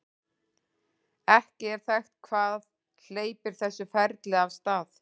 ekki er þekkt hvað hleypir þessu ferli af stað